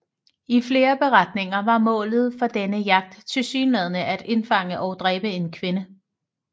I flere beretninger var målet for denne jagt tilsyneladende at indfange og dræbe en kvinde